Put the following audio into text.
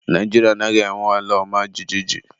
Naijiria anaghị enwe ala ọma jijiji.